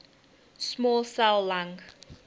small cell lung